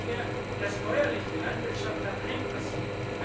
Bedenken wir, dass bäuerliche Landwirtschaft daheim passiert.